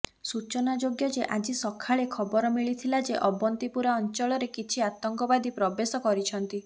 ସୂଚନାଯୋଗ୍ୟ ଯେ ଆଜି ସକାଳେ ଖବରମିଳିଥିଲା ଯେ ଅବନ୍ତୀପୁରା ଅଞ୍ଚଳରେ କିଛି ଆତଙ୍କବାଦୀ ପ୍ରବେଶ କରିଛନ୍ତି